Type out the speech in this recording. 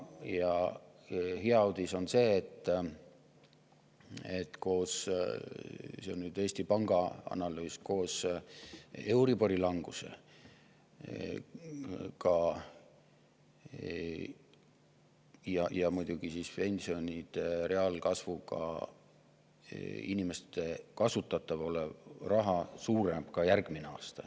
Ja hea uudis on see, et koos – see on nüüd Eesti Panga analüüs – euribori languse ja muidugi pensionide reaalkasvuga inimestel kasutada oleva raha suureneb ka järgmisel aastal.